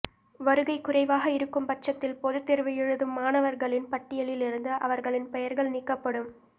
வருகை குறைவாக இருக்கும்பட்சத்தில் பொதுத்தோ்வு எழுதும் மாணவா்களின் பட்டியலில் இருந்து அவா்களின் பெயா்கள் நீக்கப்படும்